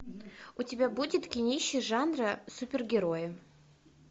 у тебя будет кинище жанра супергерои